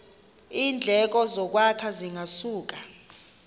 iindleko zokwakha zingasuka